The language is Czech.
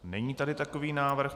Není tady takový návrh.